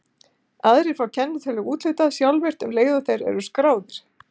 Aðrir fá kennitölu úthlutað sjálfvirkt um leið og þeir eru skráðir.